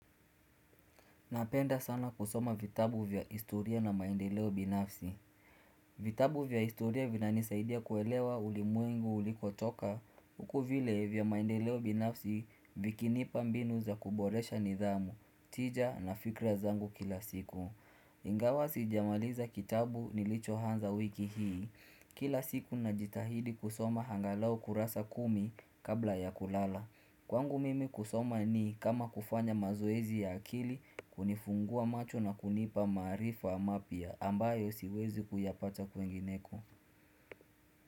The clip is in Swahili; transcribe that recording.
Napenda sana kusoma vitabu vya istoria na maendeleo binafsi vitabu vya istoria vinanisaidia kuelewa ulimwengu ulikotoka Uku vile vya maendeleo binafsi vikinipa mbinu za kuboresha nidhamu, tija na fikra zangu kila siku Ingawa sijamaliza kitabu nilichohanza wiki hii Kila siku najitahidi kusoma hangalau kurasa kumi kabla ya kulala Kwangu mimi kusoma ni kama kufanya mazoezi ya akili kunifungua macho na kunipa maarifa mapya ambayo siwezi kuyapata kwingineko.